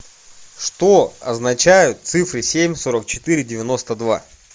что означают цифры семь сорок четыре девяносто два